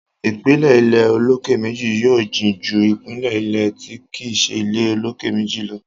ìpìlẹ̀ ilé olókè méjì yóò jìn ju ìpìlẹ̀ ilé tí kìí ṣe ilé olókè méjì lọ.